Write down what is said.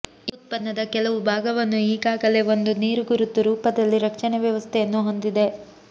ಈ ಉತ್ಪನ್ನದ ಕೆಲವು ಭಾಗವನ್ನು ಈಗಾಗಲೇ ಒಂದು ನೀರುಗುರುತು ರೂಪದಲ್ಲಿ ರಕ್ಷಣೆ ವ್ಯವಸ್ಥೆಯನ್ನು ಹೊಂದಿದೆ